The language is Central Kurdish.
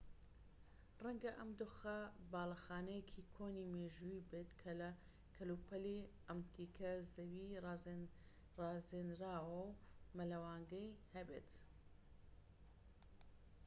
ڕەنگە ئەم دۆخە باڵەخانەیەکی کۆنی مێژوویی بێت کە کەلوپەلی ئەنتیکە زەوی ڕازێنراوە و مەلەوانگەی هەبێت